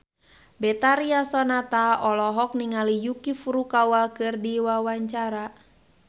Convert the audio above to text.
Betharia Sonata olohok ningali Yuki Furukawa keur diwawancara